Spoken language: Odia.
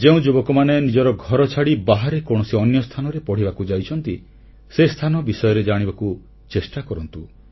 ଯେଉଁ ଯୁବକମାନେ ନିଜର ଘରଛାଡ଼ି ବାହାରେ କୌଣସି ଅନ୍ୟ ସ୍ଥାନରେ ପଢ଼ିବାକୁ ଯାଇଛନ୍ତି ସେ ସ୍ଥାନ ବିଷୟରେ ଜାଣିବାକୁ ଚେଷ୍ଟା କରନ୍ତୁ